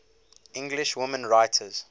english women writers